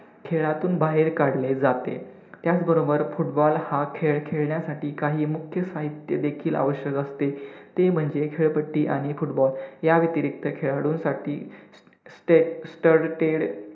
खेळातून बाहेर काढले जाते, त्याचबरोबर football हा खेळ खेळण्यासाठी काही मुख्य साहित्य देखील आवश्यक असते ते म्हणजे खेळपट्टी आणि football या व्यतिरिक्त खेळाडूंसाठी stud~ ted